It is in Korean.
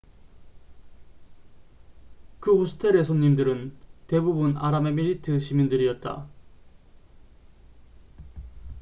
그 호스텔의 손님들은 대부분 아랍에미리트 시민들이었다